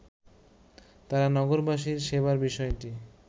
তারা নগরবাসীর সেবার বিষয়টি